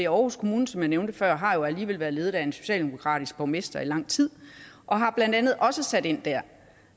aarhus kommune som jeg nævnte før har alligevel været ledet af en socialdemokratisk borgmester i lang tid og har blandt andet også sat ind der